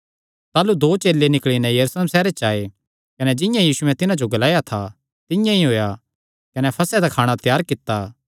ताह़लू चेले निकल़ी नैं यरूशलेम सैहरे च आये कने जिंआं यीशुयैं तिन्हां जो ग्लाया था तिंआं ई होएया कने फसह त्यार कित्ता